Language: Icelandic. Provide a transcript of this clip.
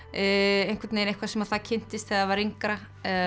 eitthvað sem það kynntist þegar það var yngra